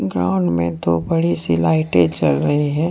Ground में दो बड़ी सी लाइटे जल रही है।